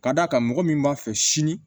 Ka d'a kan mɔgɔ min b'a fɛ sini